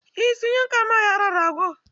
Eh sun yanka ma yaron rago.